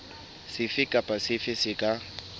sefe kapa sefe se ka